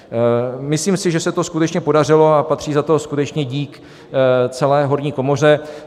Myslím si, že se to skutečně podařilo a patří za to skutečně dík celé horní komoře.